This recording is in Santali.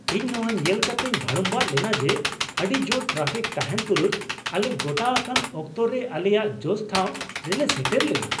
ᱤᱧ ᱱᱚᱣᱟ ᱧᱮᱞ ᱠᱟᱛᱮᱧ ᱵᱷᱟᱹᱲᱩᱢᱵᱟᱜ ᱞᱮᱱᱟ ᱡᱮ ᱟᱹᱰᱤ ᱡᱳᱨ ᱴᱨᱟᱯᱷᱤᱠ ᱛᱟᱦᱮᱱ ᱛᱩᱞᱩᱡ, ᱟᱞᱮ ᱜᱚᱴᱟ ᱟᱠᱟᱱ ᱚᱠᱛᱚᱨᱮ ᱟᱞᱮᱭᱟᱜ ᱡᱚᱥ ᱴᱷᱟᱶ ᱨᱮᱞᱮ ᱥᱮᱴᱮᱨ ᱞᱮᱱᱟ !"